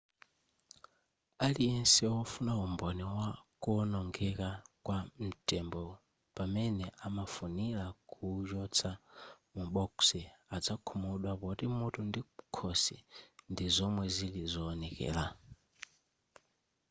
aliyense wofuna umboni wa kuonongeka kwa ntembo pamene amafunira kuuchotsa mu bokosi azakhumudwa poti mutu ndi khosi ndi zomwe zili zoonekela